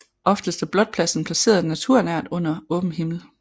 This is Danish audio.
Oftest er blotpladsen placeret naturnært under åben himmel